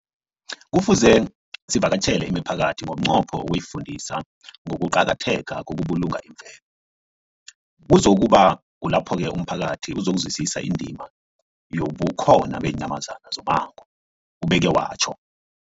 Kufuze sivakatjhele imiphakathi ngomnqopho wokuyifundisa ngokuqakatheka kokubulunga imvelo. Kuzoku ba kulapho-ke umphakathi uzokuzwisisa indima yobukhona beenyamazana zommango, ubeke watjho.